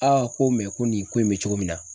Aa ko ko nin ko in be cogo min na